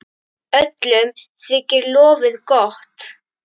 Öllum þykir lofið gott.